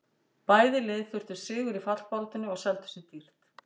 Bæði lið þurftu sigur í fallbaráttunni og seldu sig dýrt.